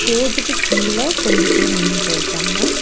ஸ்டேஜ்க்கு கீழ கொஞ்சோ பேர் நின்னுட்டு இருக்காங்க.